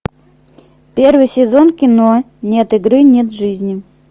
первый сезон кино нет игры нет жизни